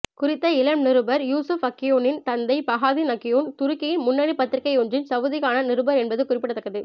குறித்த இளம் நிருபர் யூஸுப் அக்யொன்னின் தந்தை பஹாதீன் அக்யொன் துருக்கியின் முன்னணிப் பத்திரிகையொன்றின் சவூதிக்கான நிருபர் என்பது குறிப்பிடத்தக்கது